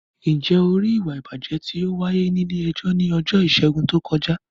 Ǹjẹ́ o rí ìwà ìbàjẹ́ tí ó wáyé ní ilé-ẹjọ́ ní ọjọ́ Ìṣẹ́gun tí ó kọjá?